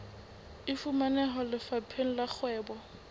e fumaneha lefapheng la kgwebo